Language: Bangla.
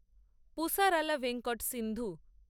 পুসারালা ভেঙ্কট সিন্ধু